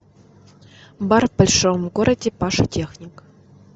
бар в большом городе паша техник